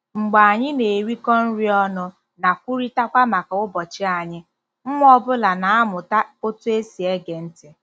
Mgbe anyị na-erikọ nri ọnụ na kwurịtakwa maka ụbọchị anyị, nwa ọ bụla na-amụta otú e si ege ntị.